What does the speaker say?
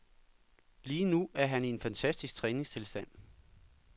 Lige nu er han i en fantastisk træningstilstand.